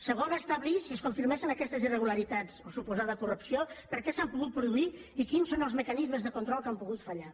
segon establir si es confirmessin aquestes irregularitats o suposada corrupció per què s’han pogut produir i quins són els mecanismes de control que han pogut fallar